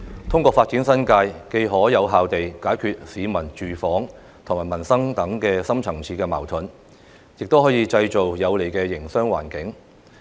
通過發展新界，既可有效地解決市民住房及民生等深層次矛盾，亦可以製造有利的營商環境。